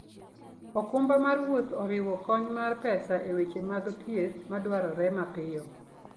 okumba mar wuoth oriwo kony mar pesa e weche mag thieth madwarore mapiyo.